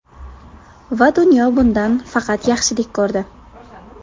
Va dunyo bundan faqat yaxshilik ko‘rdi.